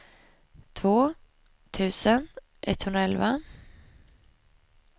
två tusen etthundraelva